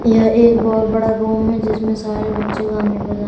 यह एक बहोत बड़ा रूम है जिसमें सारे बच्चे गाने बजाने--